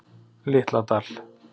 Litla Dal